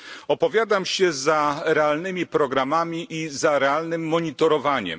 Opowiadam się za realnymi programami i za realnym monitorowaniem.